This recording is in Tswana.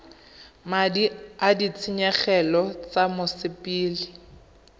madi a ditshenyegelo tsa mosepele